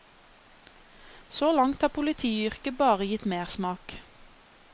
Så langt har politiyrket bare gitt mersmak.